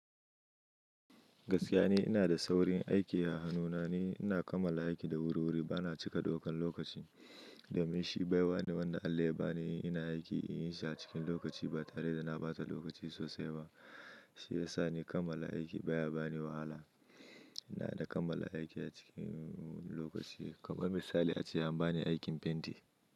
Gaskiya ni ina da saurin aiki a hanuna. Ina kammala aiki da wuri-wuri, bana cika ɗaukan lokaci. Domin shi baiwa ne wanda Allah ya bani. Ina aiki in yi shi a cikin lokaci ba tare da na bata lokaci sosai ba. Shi ya sa ni kammala aiki baya bani wahala. Ina da kammala aiki a cikin lokaci. Kamar misali, ace an bani aikin fenti,